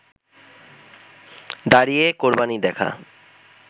দাঁড়িয়ে কোরবানি দেখা